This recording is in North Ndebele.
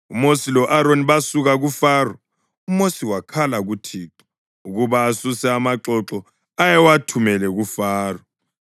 UMosi lo-Aroni basuka kuFaro. UMosi wakhala kuThixo ukuba asuse amaxoxo ayewathumele kuFaro.